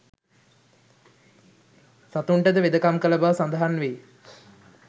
සතුන්ටද වෙදකම් කළ බව සඳහන් වෙයි.